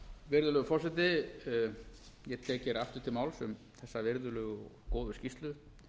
virðulegur forseti ég tek hér aftur til máls um þá virðulegu og góðu skýrslu